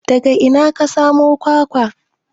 Daga ina ka samo kwakwa?